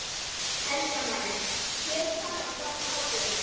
Helga María: Hver er sagan á bakvið hátíðina?